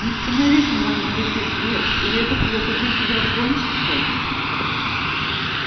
не становись на моём пути твер или это плохо для тебя кончится